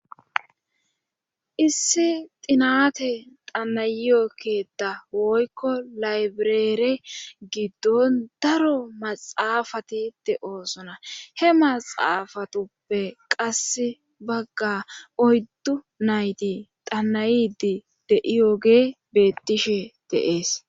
issi xinate xanayyo keta woykko laybireere giddon daro maxaafati de7oosona he maxaafatuppe qasse bagga oyddu nayti danayidi deiyoge bettishe deees